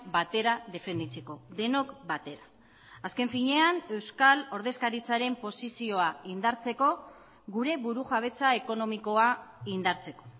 batera defenditzeko denok batera azken finean euskal ordezkaritzaren posizioa indartzeko gure burujabetza ekonomikoa indartzeko